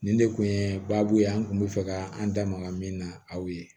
Nin de kun ye baabu ye an kun bɛ fɛ ka an da maga min na aw ye